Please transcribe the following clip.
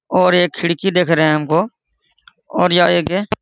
और एक खिड़की देख रहे है हमको और यह एक है --